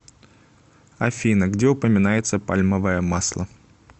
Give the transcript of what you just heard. афина где упоминается пальмовое масло